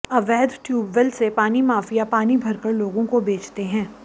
अवैध ट्यूबवेल से पानी माफिया पानी भर कर लोगों को बेचते हैं